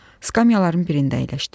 Skamyaların birində əyləşdim.